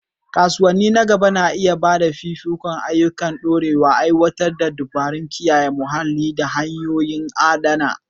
Kasuwanni na gaba na iya ba da fifikon ayyuka masu ɗorewa, aiwatar da dabarun kiyaye muhalli da hanyoyin adana.